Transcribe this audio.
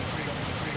Bu da sizə.